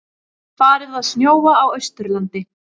Farið að snjóa á Austurlandi